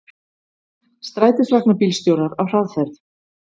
Strætisvagnabílstjórar á hraðferð